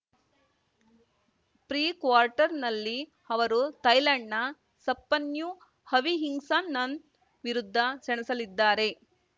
pre ಕ್ವಾರ್ಟರ್‌ನಲ್ಲಿ ಅವರು ಥಾಯ್ಲೆಂಡ್‌ನ ಸಪ್ಪನ್ಯು ಅವಿಹಿಂಗ್ಸಾನನ್‌ ವಿರುದ್ಧ ಸೆಣಸಲಿದ್ದಾರೆ